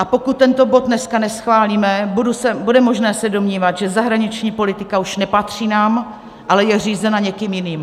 A pokud tento bod dneska neschválíme, bude možné se domnívat, že zahraniční politika už nepatří nám, ale je řízena někým jiným.